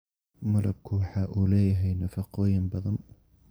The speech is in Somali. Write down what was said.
Malabku waxa uu leeyahay nafaqooyin badan.